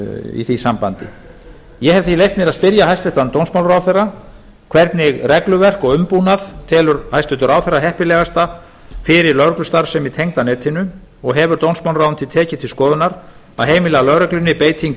í því sambandi ég hef því leyft mér að spyrja hæstvirtan dómsmálaráðherra hvernig regluverk og umbúnað telur hæstvirtur ráðherra heppilegast fyrir lögreglustarfsemi tengda netinu og hefur dómsmálaráðuneytið tekið til skoðunar að heimila lögreglunni beitingu